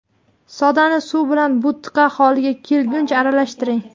Sodani suv bilan bo‘tqa holiga kelguncha aralashtiring.